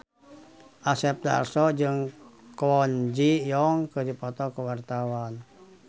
Asep Darso jeung Kwon Ji Yong keur dipoto ku wartawan